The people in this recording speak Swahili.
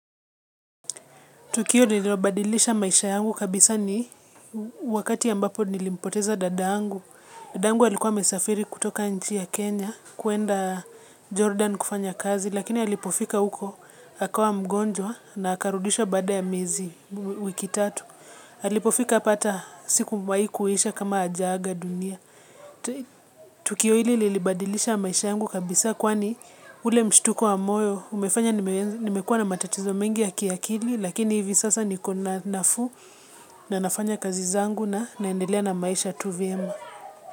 Tukio lililobadilisha maisha yangu kabisa ni wakati ambapo nilimpoteza dada yangu. Dada yangu alikuwa amesafiri kutoka nchi ya Kenya kuenda Jordan kufanya kazi, lakini alipofika huko, akawa mgonjwa na akarudishwa baada ya miezi wiki tatu. Alipofika hapa hata siku haikuisha kama hajaaga dunia. Tukio hili lilibadilisha maisha yangu kabisa kwani ule mshtuko wa moyo, umefanya nimekuwa na matatizo mengi ya kiakili lakini hivi sasa nikona nafuu na nafanya kazi zangu na naendelea na maisha tuvyema.